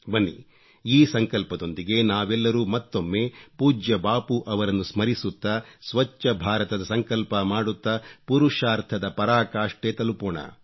ಬನ್ನಿ ಈ ಸಂಕಲ್ಪದೊಂದಿಗೆ ನಾವೆಲ್ಲರೂ ಮತ್ತೊಮ್ಮೆ ಪೂಜ್ಯ ಬಾಪೂರವರನ್ನು ಸ್ಮರಿಸುತ್ತಾ ಸ್ವಚ್ಚ ಭಾರತದ ಸಂಕಲ್ಪ ಮಾಡುತ್ತಾ ಪುರುಷಾರ್ಥದ ಪರಾಕಾಷ್ಠೆ ತಲುಪೋಣ